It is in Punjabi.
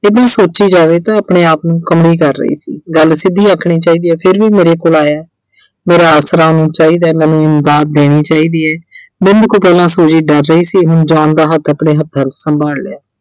ਕਿੰਨਾਂ ਸੋਚੀ ਜਾਵੇ ਤੇ ਆਪਣੇ-ਆਪ ਨੂੰ ਕਮਲੀ ਕਰ ਰਹੀ ਸੀ, ਗੱਲ ਸਿੱਧੀ ਆਖਣੀ ਚਾਹੀਦੀ ਹੈ ਫਿਰ ਵੀ ਮੇਰੇ ਕੋਲ ਆਇਐ ਮੇਰਾ ਆਸਰਾ ਉਹਨੂੰ ਚਾਹੀਦਾ, ਮੈਨੂੰ ਦਾਤ ਦੇਣੀ ਚਾਹੀਦੀ ਐ। ਬਿੰਦ ਕੁ ਪਹਿਲਾਂ Suji ਡਰ ਰਹੀ ਸੀ ਹੁਣ John ਦਾ ਹੱਥ ਆਪਣੇ ਹੱਥਾਂ ਵਿੱਚ ਸੰਭਾਲ ਲਿਆ।